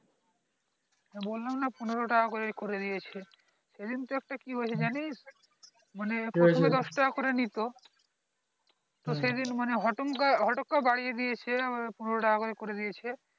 বললাম না পনেরো টাকা করে করে দিয়েছে সেদিন তো একটা কি হয়েছে জানিস মানে প্রথমে দশ টাকা করে নিত তো সে দিন মানে হতাম কা হটাত করে বাড়িয়ে দিয়েছে পনেরো টাকা করে করে দিয়েছে